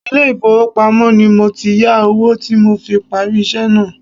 Ilé ifowopamo ni mo ti yà owó tí mo fi parí iṣẹ́ náà.